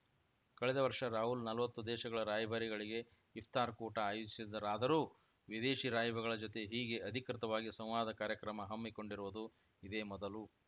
ಕಳೆದ ವರ್ಷ ರಾಹುಲ್‌ ನಲ್ವತ್ತು ದೇಶಗಳ ರಾಯಭಾರಿಗಳಿಗೆ ಇಫ್ತಾರ್‌ ಕೂಟ ಆಯೋಜಿಸಿದ್ದರಾದರೂ ವಿದೇಶಿ ರಾಯಭಾರಿಗಳ ಜೊತೆ ಹೀಗೆ ಅಧಿಕೃತವಾಗಿ ಸಂವಾದ ಕಾರ್ಯಕ್ರಮ ಹಮ್ಮಿಕೊಂಡಿರುವುದು ಇದೇ ಮೊದಲು